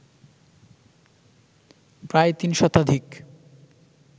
প্রায় তিন শতাধিক